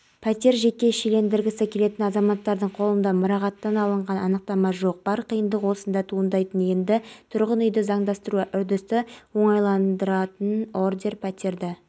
қазақстан президенті нұрсұлтан назарбаев қазақстан республикасы ішкі істер органдарының қызметкерлерімен кездесті деп хабарлайды ақорда сайтына сілтеме